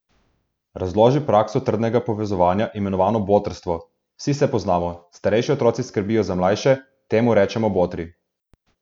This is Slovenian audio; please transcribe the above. Razloži prakso trdnega povezovanja, imenovano botrstvo: "Vsi se poznamo, starejši otroci skrbijo za mlajše, temu rečemo botri.